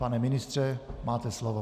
Pane ministře, máte slovo.